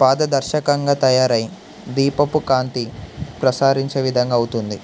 పారదర్శకంగా తయారై దీపపుకాంతి ప్రసరించే విధంగా అవుతుంది